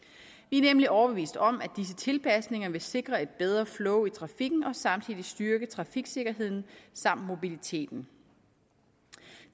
er nemlig overbevist om at disse tilpasninger vil sikre et bedre flow i trafikken og samtidig styrke trafiksikkerheden samt mobiliteten